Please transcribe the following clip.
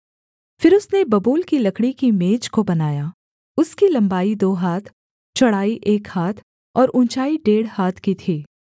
फिर उसने बबूल की लकड़ी की मेज को बनाया उसकी लम्बाई दो हाथ चौड़ाई एक हाथ और ऊँचाई डेढ़ हाथ की थी